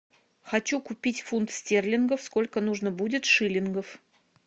хочу купить фунт стерлингов сколько нужно будет шиллингов